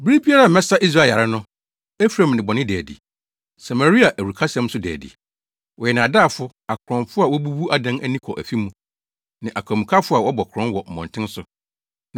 bere biara a mɛsa Israel yare no, Efraim nnebɔne da adi. Samaria awurukasɛm nso da adi. Wɔyɛ nnaadaafo akorɔmfo a wobubu adan ani kɔ afi mu, ne akwamukafo a wɔbɔ korɔn wɔ mmɔnten so.